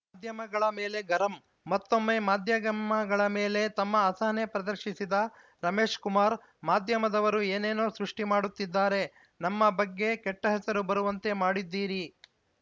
ಮಾಧ್ಯಮಗಳ ಮೇಲೆ ಗರಂ ಮತ್ತೊಮ್ಮೆ ಮಾಧ್ಯಮಗಳ ಮೇಲೆ ತಮ್ಮ ಅಸಹನೆ ಪ್ರದರ್ಶಿಸಿದ ರಮೇಶ್‌ಕುಮಾರ್‌ ಮಾಧ್ಯಮದವರು ಏನೇನೋ ಸೃಷ್ಟಿಮಾಡುತ್ತಿದ್ದಾರೆ ನಮ್ಮ ಬಗ್ಗೆ ಕೆಟ್ಟಹೆಸರು ಬರುವಂತೆ ಮಾಡಿದ್ದೀರಿ